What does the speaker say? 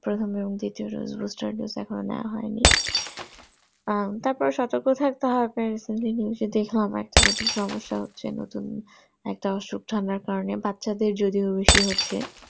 এখনো নেওয়া হয়নি আহ তারপর সতর্ক থাকতে হবে zee news এ দেখলাম আবার নতুন সমস্যা হচ্ছে নতুন একটা আসুক ছড়ানোর কারণে বাচ্ছাদের যদিও বেশি হচ্ছে